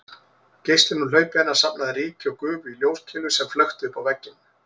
Geislinn úr hlaupi hennar safnaði ryki og gufu í ljóskeilu sem flökti uppá vegginn